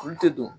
Olu tɛ don